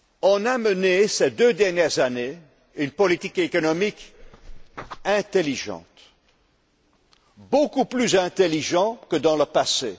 On a mené, ces deux dernières années, une politique économique intelligente, beaucoup plus intelligente que dans le